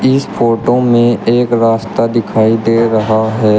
इस फोटो में एक रास्ता दिखाई दे रहा है।